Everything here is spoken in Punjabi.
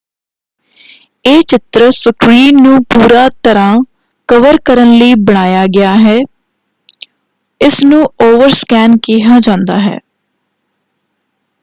ਇਹ ਚਿੱਤਰ ਸਕ੍ਰੀਨ ਨੂੰ ਪੂਰਾ ਤਰ੍ਹਾਂ ਕਵਰ ਕਰਨ ਲਈ ਬਣਾਇਆ ਗਿਆ ਹੈ। ਇਸ ਨੂੰ ਓਵਰਸਕੈਨ” ਕਿਹਾ ਜਾਂਦਾ ਹੈ।